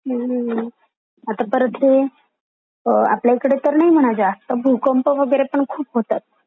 हं हं आता परत ते आपल्या इकडे तर नाही म्हणा जास्त भूकंप वैगेरे पण खूप होतात.